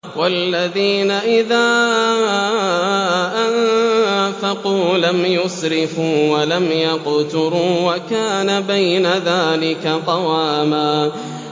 وَالَّذِينَ إِذَا أَنفَقُوا لَمْ يُسْرِفُوا وَلَمْ يَقْتُرُوا وَكَانَ بَيْنَ ذَٰلِكَ قَوَامًا